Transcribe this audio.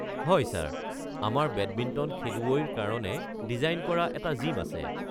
হয় ছাৰ, আমাৰ বেডমিণ্টন খেলুৱৈৰ কাৰণে ডিজাইন কৰা এটা জিম আছে।